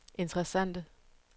interessante